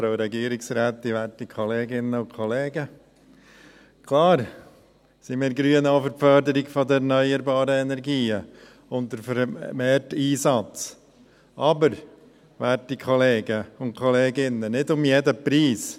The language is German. Klar sind wir Grünen auch für die Förderung der erneuerbaren Energien und deren vermehrten Einsatz, aber, werte Kollegen und Kolleginnen, nicht um jeden Preis.